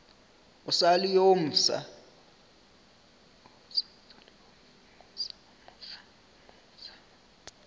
o sa le yo mofsa